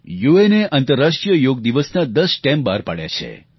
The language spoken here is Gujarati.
યુએને આંતરરાષ્ટ્રીય યોગ દિવસના 10 સ્ટેપ બહાર પાડ્યા છે